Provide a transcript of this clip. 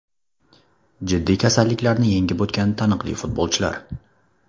Jiddiy kasalliklarni yengib o‘tgan taniqli futbolchilar.